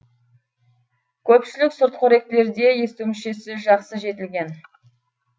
көпшілік сүртқоректілерде есту мүшесі жақсы жетілген